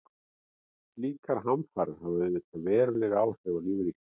Slíkar hamfarir hafa auðvitað veruleg áhrif á lífríkið.